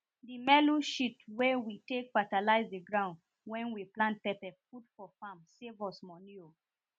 the melu shit wen we take fatalize the ground wen we plant pepper put for farm save us money o